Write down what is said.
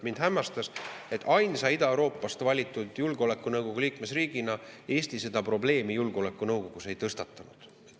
Mind hämmastas, et ainsa Ida-Euroopast valitud julgeolekunõukogu liikmesriigina Eesti seda probleemi julgeolekunõukogus ei tõstatanud.